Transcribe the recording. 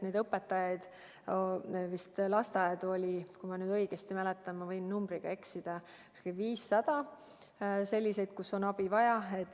Neid lasteaedu on, kui ma nüüd õigesti mäletan – ma võin numbriga eksida –, umbes 500, kus on abi vaja.